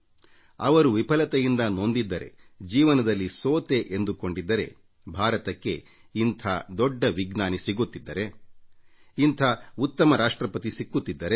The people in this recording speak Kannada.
ಅವರು ವಿಫಲತೆಯಿಂದ ನೊಂದಿದ್ದರೆ ಜೀವನದಲ್ಲಿ ಸೋತೆ ಎಂದುಕೊಂಡಿದ್ದರೆ ಭಾರತಕ್ಕೆ ಇಂಥ ದೊಡ್ಡ ವಿಜ್ಞಾನಿ ಸಿಗುತ್ತಿದ್ದರೆ ಇಂಥ ಉತ್ತಮ ರಾಷ್ಟ್ರಪತಿ ಸಿಕ್ಕುತ್ತಿದ್ದರೆ ಇಲ್ಲ